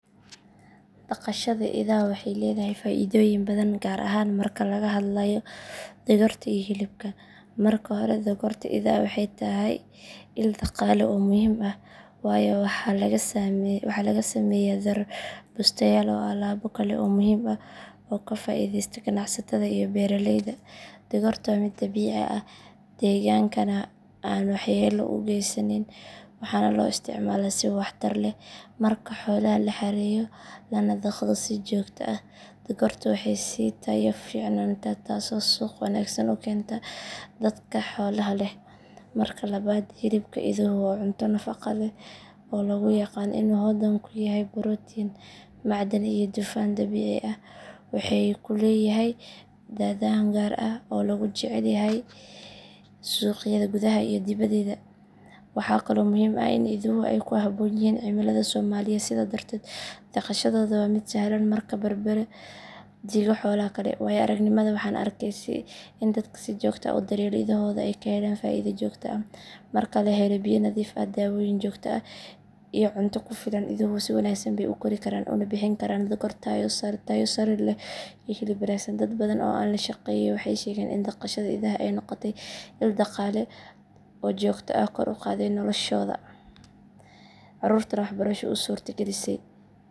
Dhaqashada idaha waxay leedahay faa’iidooyin badan gaar ahaan marka laga hadlayo dhogorta iyo hilibka. Marka hore, dhogorta idaha waxay tahay il dhaqaale oo muhiim ah waayo waxaa laga sameeyaa dhar, bustayaal iyo alaabo kale oo muhiim ah oo ka faa’iideysta ganacsatada iyo beeraleyda. Dhogortu waa mid dabiici ah, deegaankana aan waxyeello u geysanayn, waxaana loo isticmaalaa si waxtar leh. Marka xoolaha la xareeyo lana dhaqdo si joogto ah, dhogortu way sii tayo fiicnaataa taasoo suuq wanaagsan u keenta dadka xoolaha leh. Marka labaad, hilibka iduhu waa cunto nafaqo leh oo lagu yaqaan inuu hodan ku yahay borotiin, macdan iyo dufan dabiici ah. Waxa uu leeyahay dhadhan gaar ah oo lagu jecel yahay suuqyada gudaha iyo dibedda. Waxaa kaloo muhiim ah in iduhu ay ku habboon yihiin cimilada Soomaaliya, sidaas darteed dhaqashadooda waa mid sahlan marka la barbar dhigo xoolaha kale. Waayo-aragnimadayda, waxaan arkay in dadka si joogto ah u daryeela idahooda ay ka helaan faa’iido joogto ah. Marka la helo biyo nadiif ah, daawooyin joogto ah iyo cunto ku filan, iduhu si wanaagsan bay u kori karaan una bixin karaan dhogor tayo sare leh iyo hilib wanaagsan. Dad badan oo aan la shaqeeyay waxay sheegeen in dhaqashada idaha ay noqotay il dhaqaale oo joogto ah oo kor u qaaday noloshooda, carruurtoodana waxbarasho u suurta gelisay.